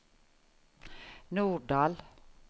Norddal